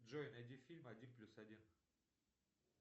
джой найди фильм один плюс один